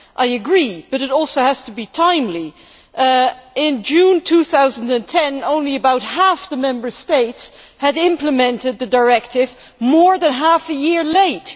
I agree, but it also has to be timely. In June 2010, only about half the Member States had implemented the directive more than half a year late.